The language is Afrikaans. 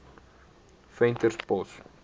venterspost